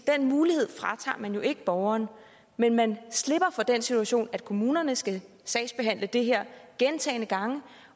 mulighed fratager man jo ikke borgeren men man slipper for den situation at kommunerne skal sagsbehandle det her gentagne gange